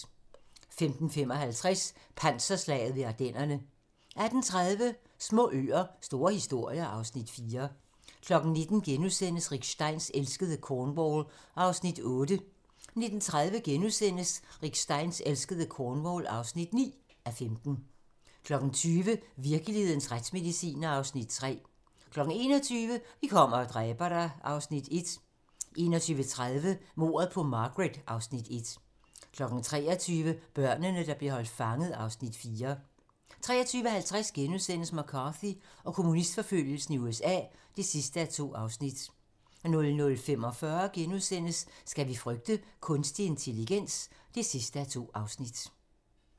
15:55: Panserslaget ved Ardennerne 18:30: Små øer - store historier (Afs. 4) 19:00: Rick Steins elskede Cornwall (8:15)* 19:30: Rick Steins elskede Cornwall (9:15)* 20:00: Virkelighedens retsmedicinere (Afs. 3) 21:00: Vi kommer og dræber dig... (Afs. 1) 21:30: Mordet på Margaret (Afs. 1) 23:00: Børnene, der blev holdt fanget (Afs. 4) 23:50: McCarthy og kommunistforfølgelsen i USA (2:2)* 00:45: Skal vi frygte kunstig intelligens? (2:2)*